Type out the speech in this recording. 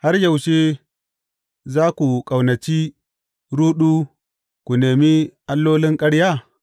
Har yaushe za ku ƙaunaci ruɗu ku nemi allolin ƙarya?